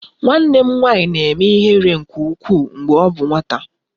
Nwanne m nwanyị na-eme ihere nke ukwuu mgbe ọ bụ nwata